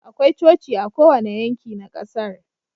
Akwai Coci a kowane yanki na kasar